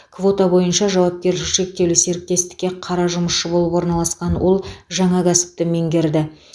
квота бойынша жауапкершілігі шектеулі серіктестікке қара жұмысшы болып орналасқан ол жаңа кәсіпті меңгерді